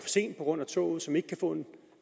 sent på grund af toget og som ikke kan få en